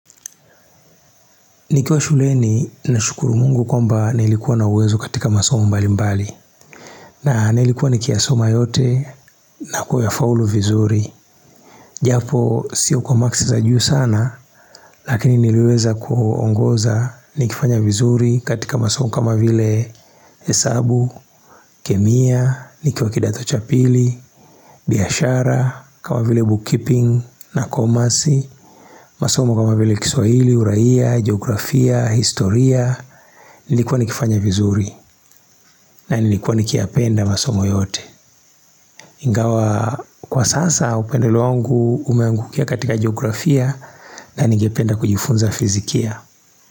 Nikiwa shuleni nashukuru Mungu kwamba nilikuwa na uwezo katika masomo mbalimbali na nilikuwa nikiyasoma yote na kuyafaulu vinzuri Japoo siyo kwa makisi za juu sana Lakini niliweza kuogoza nikifanya vinzuri katika masomo kama vile hesabu, kemia, nikiwa kindato cha pili, biashara kama vile book keeping na Commerce masomo kama vile kiswahili, Uraia, Geografia, historia nilikuwa nikifanya vinzuri na nilikuwa nikiyapenda masomo yote ingawa aa kwa sasa upendeleo wangu umeangukia katika Geografia na nigependa kujifunza fizikia.